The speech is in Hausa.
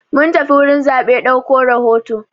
Mun tafi gurin zaɓe dauko rahoto.